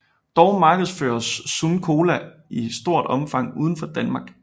Dog markedsføres Sun Cola i stort omfang udenfor Danmark